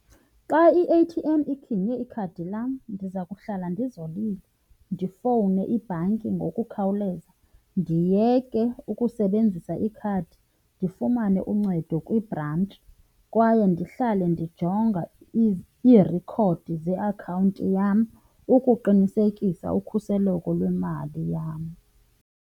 Xa i-A_T_M iginye ikhadi lam ndiza kuhlala ndizolile, ndifowune ibhanki ngokukhawuleza, ndiyeke ukusebenzisa ikhadi, ndifumane uncedo kwibhrantshi kwaye ndihlale ndijonga iirekhodi zeakhawunti yam ukuqinisekisa ukhuseleko lwemali yam.